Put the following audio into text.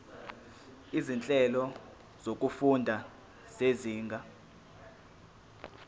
izinhlelo zokufunda zezinga